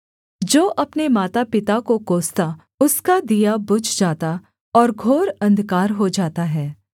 जो अपने मातापिता को कोसता उसका दिया बुझ जाता और घोर अंधकार हो जाता है